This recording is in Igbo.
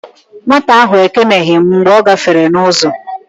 Nwata ahụ ekeneghi m mgbe ọ gáfèrè m n'uzo